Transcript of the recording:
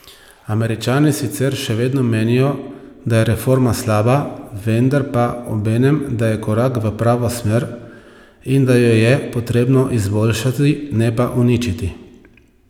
Američani sicer še vedno menijo, da je reforma slaba, vendar pa obenem da je korak v pravo smer in da jo je potrebno izboljšati, ne pa uničiti.